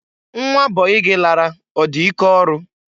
Nwa bọyị gị lara ọ dị ike ọrụ?